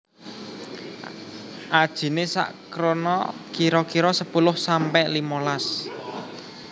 Ajiné sak krona kira kira sepuluh sampe limolas